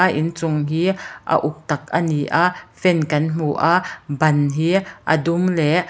a inchung hi a uk tak ani a fan kan hmu aaa ban hi a dum leh --